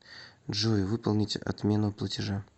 джой выполнить отмену платежа